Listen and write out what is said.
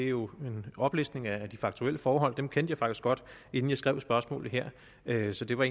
jo er en oplæsning af de faktuelle forhold dem kendte jeg faktisk godt inden jeg skrev spørgsmålet her her så det var